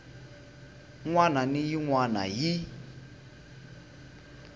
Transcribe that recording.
wana na yin wana hi